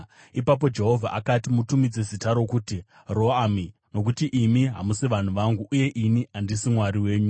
Ipapo Jehovha akati, “Mutumidze zita rokuti Ro-Ami, nokuti imi hamusi vanhu vangu, uye ini handisi Mwari wenyu.